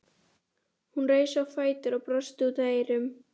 Hún reis á fætur og brosti út að eyrum.